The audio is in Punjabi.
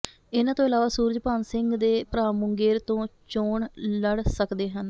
ਇਨ੍ਹਾਂ ਤੋਂ ਇਲਾਵਾ ਸੂਰਜ ਭਾਨ ਸਿੰਘ ਦੇ ਭਰਾ ਮੁੰਗੇਰ ਤੋਂ ਚੋਣ ਲੜ ਸਕਦੇ ਹਨ